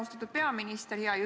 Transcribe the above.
Austatud peaminister!